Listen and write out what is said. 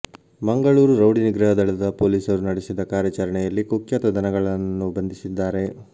Mangaluru rowdy ನಿಗ್ರಹ ದಳದ ಪೊಲೀಸರು ನಡೆಸಿದ ಕಾರ್ಯಾಚರಣೆಯಲ್ಲಿ ಕುಖ್ಯಾತ ದನಗಳ್ಳನನ್ನು ಬಂಧಿಸಿದ್ದಾರೆ